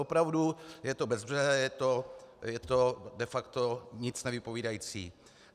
Opravdu, je to bezbřehé, je to de facto nic nevypovídající.